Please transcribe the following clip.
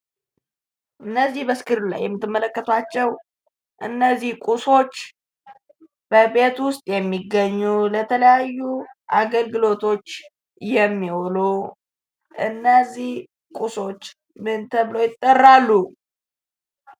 እነዚህ በስክሪኑ ላይ የምትመለከታቸው እነዚህ ቁሶች በቤት ውስጥ የሚገኙ ለተለያዩ አገልግሎቶች የሚውሉ እነዚህ ቁሶች ምን ተብለው ይጠራሉ?